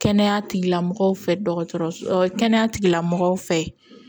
Kɛnɛya tigilamɔgɔw fɛ dɔgɔtɔrɔso kɛnɛya tigilamɔgɔw fɛ